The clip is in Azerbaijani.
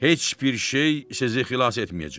Heç bir şey sizi xilas etməyəcək.